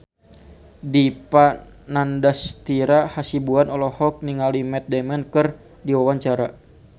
Dipa Nandastyra Hasibuan olohok ningali Matt Damon keur diwawancara